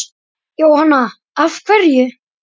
Jóhanna: Af hverju?